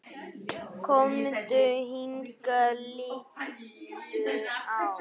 Komdu hingað, líttu á!